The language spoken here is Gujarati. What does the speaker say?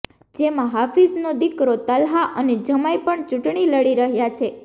જેમાં હાફિઝનો દીકરો તલ્હા અને જમાઈ પણ ચૂંટણી લડી રહ્યાં છે